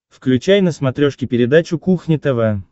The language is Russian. включай на смотрешке передачу кухня тв